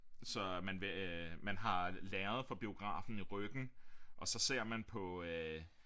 Så man vil øh man har lærredet fra biografen i ryggen og så ser man på øh